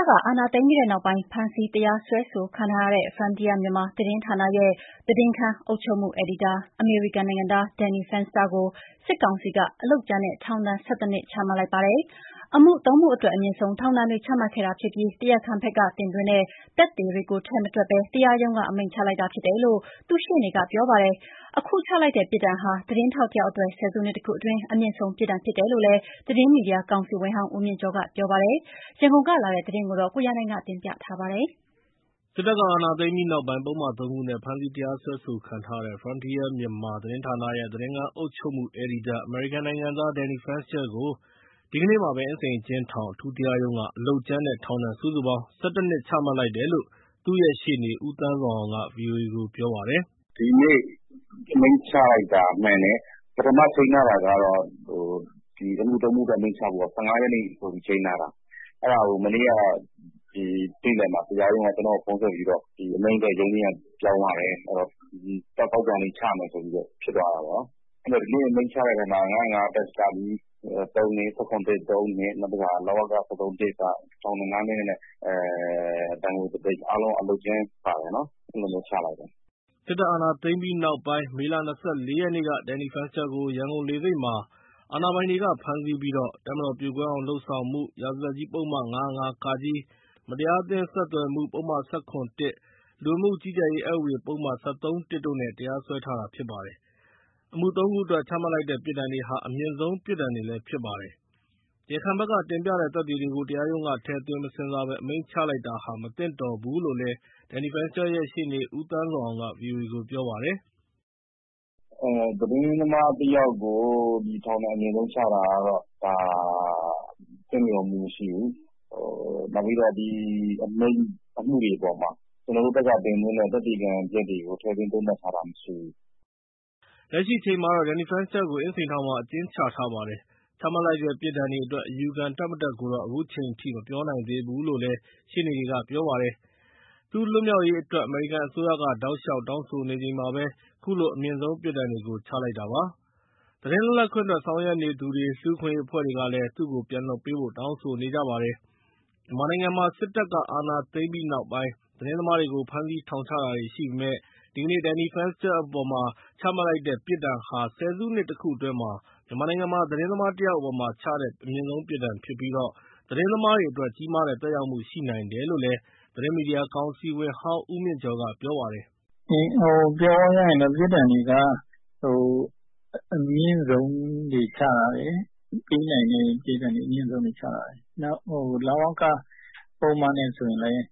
တပ်က အာဏာသိမ်းပြီးနောက်ပိုင်း ဖမ်းဆီးတရားစွဲဆိုခံထားရတဲ့ Frontier Myanmar သတင်းဌာနရဲ့ သတင်းခန်း အုပ်ချုပ်မှုအယ်ဒီတာ အမေရိကန်နိုင်ငံသား Danny Fenster ကို စစ်ကောင်စီက အလုပ်ကြမ်းနဲ့ ထောင်ဒဏ် ၁၁ နှစ်ချမှတ်လိုက်ပါတယ်။ အမှု ၃ မှုအတွက် အမြင့်ဆုံးထောင်ဒဏ်တွေ ချမှတ်ခဲ့တာဖြစ်ပြီး တရားခံဘက်ကတင်သွင်းတဲ့ သက်သေတွေကိုထည့်မတွက်ဘဲ တရားရုံးက အမိန့်ချလိုက်တာ ဖြစ်တယ်လို့ သူ့ရှေ့နေက ပြောပါတယ်။ အခုချလိုက်တဲ့ပြစ်ဒဏ်ဟာ သတင်းထောက်တယောက်အတွက် ဆယ်စုနှစ်တခုအတွင်း အမြင့်ဆုံး ပြစ်ဒဏ်ဖြစ်တယ်လို့လည်း သတင်းမီဒီယာကောင်စီဝင်ဟောင်း ဦးမြင့်ကျော်က ပြောပါတယ်။ ရန်ကုန်ကလာတဲ့သတင်းကို ကိုရန်နိုင်က တင်ပြပေးထားပါတယ်။ စစ်တပ်က အာဏာသိမ်းပြီးနောက်ပိုင်း ပုဒ်မ ၃ ခုနဲ့ ဖမ်းဆီးတရားစွဲဆိုခံထားရတဲ့ Frontier Myanmar သတင်းဌာနရဲ့ သတင်းခန်းအုပ်ချုပ်မှုအယ်ဒီတာ အမေရိကန်နိုင်ငံသား Danny Fenster ကို ဒီကနေ့မှာပဲ အင်းစိန်အကျဉ်းထောင် အထူးတရားရုံးက အလုပ်ကြမ်းနဲ့ ထောင်ဒဏ် စုစုပေါင်း ၁၁ နှစ် ချမှတ်လိုက်တယ်လို့ သူ့ရဲ့ရှေ့နေ ဦးသန်းဇော်အောင်က ဗွီအိုအေကို ပြောပါတယ်။ “ဒီနေ့ အမိန့်ချလိုက်တာ မှန်တယ်။ ပထမချိန်းထားတာကတော့ ဒီအမှုသုံးမှုအတွက် အမိန့်ချဖို့က ၁၅ ရက်နေ့ ဆိုပြီးတော့ ချိန်းထားတာ။ အဲဒါကို မနေ့က နေ့လည်မှာ တရားရုံးက ကျနော့်ကို ဖုန်းဆက်ပြီးတော့ ဒီအမိန့်အတွက် ရုံးချိန်းက ပြောင်းသွားတယ်။ ဒီအပတ် သောကြာနေ့ ချမယ် ဆိုပြီးတော့ ဖြစ်သွားတာပေါ့နော်။ ဒီနေ့ အမိန့်ချတဲ့ထဲမှာ ၅၀၅-က အတွက် ၃နှစ်၊ ၁၇ အတွက် သုံးနှစ်၊ လဝက ၁၃ က ထောင်ဒဏ် ၅နှစ် နဲ့ ဒဏ်ငွေတသိန်း အားလုံး အလုပ်ကြမ်းပါတယ်နော်။ အဲလိုမျိုးချလိုက်တယ်။” စစ်တပ်အာဏာသိမ်းပြီးနောက်ပိုင်း မေလ ၂၄ ရက်နေ့က Danny Fenster ကို ရန်ကုန်လေဆိပ်မှာ အာဏာပိုင်တွေက ဖမ်းဆီးပြီး တပ်မတော် ပြိုကွဲအောင်လုပ်ဆောင်မှု ရာဇသတ်ကြီး ပုဒ်မ ၅၀၅ ၊ မတရားအသင်းဆက်သွယ်မှု ပုဒ်မ ၁၇ ၊ လူဝင်မှု ကြီးကြပ်ရေး အက်ဥပဒေ ပုဒ်မ ၁၃ တို့နဲ့ တရားစွဲထား တာဖြစ်ပါတယ်။ အမှု ၃ ခုအတွက် ချလိုက်တဲ့ ပြစ်ဒဏ်တွေဟာ အမြင့်ဆုံးပြစ်ဒဏ်တွေဖြစ်ပါတယ်။ တရားခံဘက်ကတင်ပြတဲ့ သက်သေတွေကို တရားရုံးက ထည့်သွင်းမစဉ်းစားဘဲ အမိန့်ချလိုက်တာဟာ မသင့်လျော် ဘုူးလို့လည်း Danny Fenster ရဲ့ ရှေ့နေ ဦးသန်းဇော်အောင်က ဗွီအိုအေကို ပြောပါတယ်။ “သတင်းသမားတယောက်ကို ထောင်ဒဏ်အမြင့်ဆုံးချတာကတော့ ဒါ သင့်လျော်မှုမရှိဘူး။ နောက်ပြီးတော့ ဒီအမှုတွေအပေါ်မှာ ကျနော်တို့ဘက်က တင်သွင်းတဲ့ သက်သေခံချက်တွေကို ထည့်သွင်းသုံးသပ်ထားတာ မရှိဘူး။” လက်ရှိအချိန်မှာတော့ Danny Fensterကို အင်းစိန်ထောင်မှာ အကျဉ်းချထားပါတယ်။ ချမှတ်လိုက် တဲ့ ပြစ်ဒဏ်အတွက် အယူခံ တက်မတက်ကိုတော့ အခုအချိန်မပြောနိုင်သေးဘူးလို့လည်း ရှေ့နေ က ပြောပါတယ်။ သူ့လွတ်မြောက်အရေးအတွက် အမေရိကန်အစိုးရက တောက်လျှောက် တောင်းဆိုနေချိန်မှာပဲ ခုလို အမြင့်ဆုံးပြစ်ဒဏ်တွေ ချလိုက်တာပါ။ သတင်းလွတ်လပ်ခွင့်အတွက် ဆောင်ရွက်နေသူတွေ၊ လူ့အခွင့်အရေးအဖွဲ့တွေကလည်း သူ့ုကို ပြန်လွှတ်ပေးဖို့ တောင်းဆိုနေကြပါတယ်။ မြန်မာနိုင်ငံမှာ စစ်တပ်က အာဏာသိမ်းပြီးနောက်ပိုင်း သတင်းသမားတွေကို ဖမ်းဆီးထောင်ချတာတွေ ရှိပေမယ့် ဒီကနေ့ Danny Fenster အပေါ် ချလိုက်တဲ့ပြစ်ဒဏ်ဟာ ဆယ်နှစ်တခုအတွင်း မြန်မာနိုင်ငံမှာ သတင်းသမားတယောက်အပေါ်ချတဲ့ အမြင့်ဆုံးပြစ်ဒဏ်ဖြစ်ပြီး သတင်းသမားတွေအတွက် ကြီးမားတဲ့ သက်ရောက်မှု ရှိနိုင်တယ်လို့လည်း သတင်းမီဒီယာ ကောင်စီဝင်ဟောင်း ဦးမြင့်ကျော်က ပြောပါတယ်။ “ပြောရရင်တော့ ပြစ်ဒဏ်တွေက အမြင့်ဆုံပေးနိုင်တဲ့ ပြစ်ဒဏ် အမြင့်ဆုံးတွေ ချထားတယ်။ နောက် လဝက ပုဒ်မနဲ့ ဆိုရင်လည်း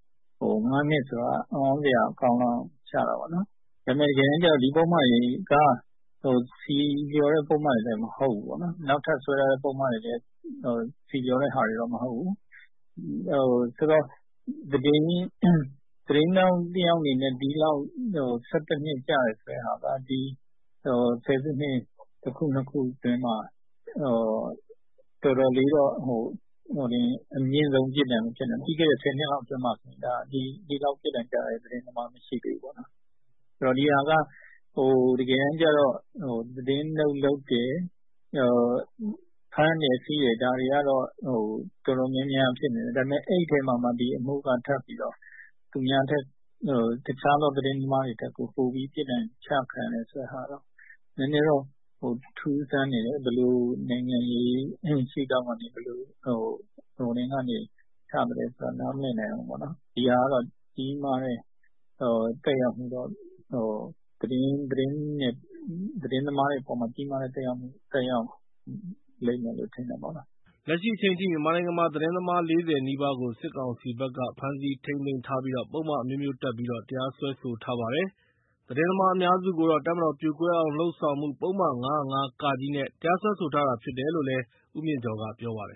၅နှစ်ဆိုတာ အံ့သြစရာကောင်းလောက်အောင် ချတာပေါ့ နော်။ ဒါပေမယ့် တကယ်တမ်းကျတော့ ဒီပုဒ်မတွေက ဆီလျော်တဲ့ပုဒ်မတွေလည်း မဟုတ်ဘူးပေါ့နော်။ နောက်ထပ်စွဲထားတဲ့ ပုဒ်မတွေလည်း ဆီလျော်တဲ့ဟာတော့ မဟုတ်ဘူး။ ဆိုတော့ သတင်းထောင်တယောက် အနေနဲ့ ၁၁ နှစ်ကျတယ်ဆိုတဲ့ဟာ ဒီဆယ်စုနှစ် တခု နှစ်ခုအတွင်းမှာ အမြင့်ဆုံးပြစ်ဒဏ်ဖြစ်နေတယ်။ ပြီးခဲ့တဲ့ ဆယ်နှစ်အတွင်းမှာ ဒီလောက်ပြစ် ဒဏ်ကျတဲ့ သတင်းသမားမရှိသေးဘူးပေါ့။ သတင်းထောက်တွေကို ဖမ်းတာတွေကတော့ တော်တော်များများရှိတယ်။ ဒါပေမယ့် ဒီအမှုက တခြားသောသတင်းသမားတွေထက် ပိုပြီးတော့ ပြစ်ဒဏ်ချခံရတာကတော့ နည်းနည်းတော့ ထူးဆန်းနေတယ်။ ဘယ်လိုနိုင်ငံရေး ရှု့ထောင့်ကနေ ဘယ်လို ချလိုက်လဲဆိုတာ နားမလည်နိုင်ဘူး။ ဒီဟာက သတင်း သမားတွေအပေါ်မှာ ကြီးမားတဲ့ သက်ရောက်မှု ရှိလိမ့်မယ်လို့ ထင်တယ်ပေါ့နော်။” လက်ရှိအချိန်ထိ မြန်မာနိုင်ငံမှာ သတင်းသမား ၄၀ နီးပါးကို စစ်ကောင်စီဘက်က ဖမ်းဆီးထိန်း သိမ်းထားပြီး ပုဒ်မအမျိုးမျိုးနဲ့ တရားစွဲဆိုထားပါတယ်။ သတင်းသမား အများစုကိုတော့ တပ်မတော်ပြိုကွဲအောင်လုပ်ဆောင်မှုပုဒ်မ ၅၀၅ နဲ့ တရားစွဲဆိုထားတာဖြစ်တယ်လို့လည်း ဦးမြင့်ကျော်က ပြောပါတယ်